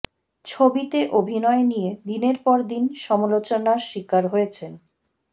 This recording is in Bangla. ছবিতে অভিনয় নিয়ে দিনের পরে দিন সমালোচনার শিকার হয়েছেন